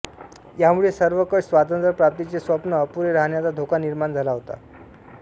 यामुळे सर्वंकष स्वातंत्र्य प्राप्तीचे स्वप्न अपुरे रहाण्याचा धोका निर्माण झाला होता